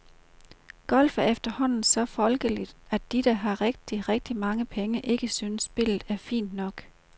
Golf er efterhånden så folkeligt, at de, der har rigtig, rigtig mange penge, ikke synes spillet er fint nok.